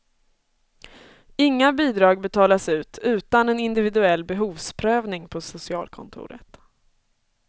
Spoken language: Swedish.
Inga bidrag betalas ut utan en individuell behovsprövning på socialkontoret.